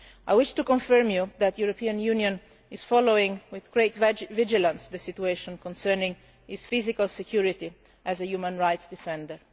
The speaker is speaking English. I wish to confirm to you that the European Union is following with great vigilance the situation concerning his physical security as a human rights defender.